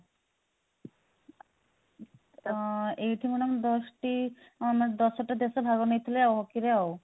ତ ଏଇଠି madam ଦଶ ଟି ଆମର ଦଶ ଟା ଦେଶ ଭାଗ ନେଇଥିଲେ ଆଉ hockey ରେ ଆଉ